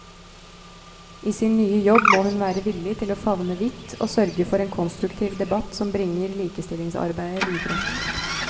I sin nye jobb må hun være villig til å favne vidt og sørge for en konstruktiv debatt som bringer likestillingsarbeidet videre.